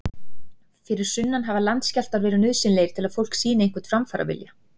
Fyrir sunnan hafa landskjálftar verið nauðsynlegir til að fólk sýni einhvern framfaravilja.